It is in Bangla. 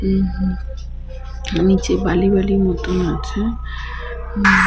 উম হু নিচে বালি বালি মতন আছে উম--